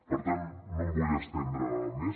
per tant no em vull estendre més